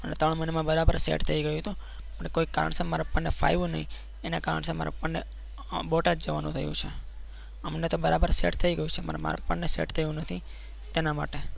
મને પણ તકલીફ પડતી હતી અત્યારે બરોબર set થઈ ગયું છે અત્યારે બરાબર quality mask પણ આવેલા છે seventy nine percent quality mask છે. આ મહિનાના ત્રણ મહિના મારે job કરે થયા છે અહિયાં